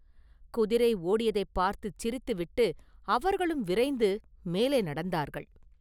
குதிரை ஓடியதைப் பார்த்துச் சிரித்து விட்டு, அவர்களும் விரைந்து மேலே நடந்தார்கள்.